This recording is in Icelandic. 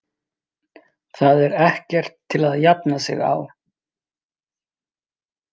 Þetta er ekkert til að jafna sig á.